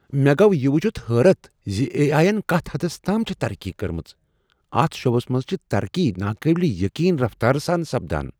مےٚ گوٚو یہ وچھتھ حیرت ز اے. آٮٔی ین کتھ حدس تام چھےٚ ترقی کٔرمٕژ۔ اتھ شعبس منز چھ ترقی ناقابل یقین رفتارٕ سان سپدان۔